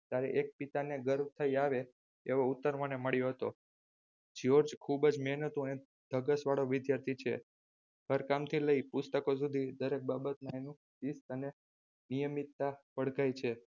ત્યારે એક પિતાને ગર્વ થય આવે એવો ઉત્તર મને મળ્યો હતો જ્યોર્જ ખૂબજ મહેનતુ અને ધગસ વાળો વિદ્યાર્થી છે ઘરકામથી લય પુસ્તકો સુધી દરેક બાબતમાં તેનું શિસ્ત અને નિયમિતતા ઓળખાય છે.